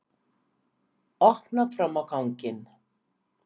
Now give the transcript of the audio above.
Opnar fram á ganginn.